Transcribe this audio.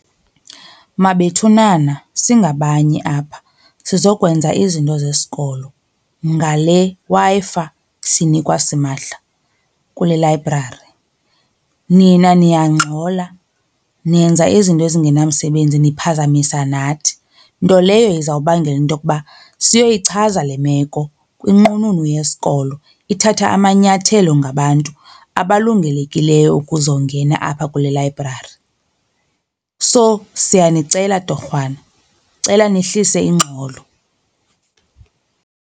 Mabethunana singabanye apha sizokwenza izinto zesikolo ngale Wi-Fi siyinikwa simahla kule layibrari. Nina niyangxola nenza izinto ezingenamsebenzi niphazamisa nathi, nto leyo izawubangela into yokuba siyoyichaza le meko kwinqununu yesikolo ithathe amanyathelo ngabantu abalungelekileyo ukuzongena apha kule layibrari. So, siyanicela torhwana, cela nehlise ingxolo.